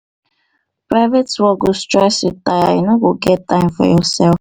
private work go stress you tire you no go get time for yoursef.